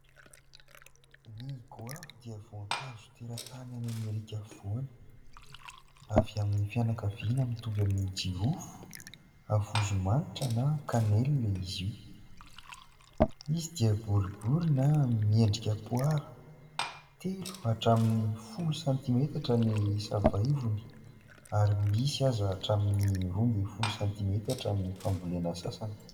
Ny goavy dia voankazo teratany any Amerika afovoany, avy amin'ny fianakaviana mitovy amin'ny jirofo havozomanitra na "cannelle" izy io ; izy dia boribory na miendrika poara, telo hatramin'ny folo santimetatra ny sava ivony ary misy aza hatramin'ny roa ambin'ny folo santimetatra amin'ny fambolena sasany.